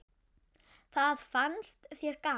Það fannst þér gaman.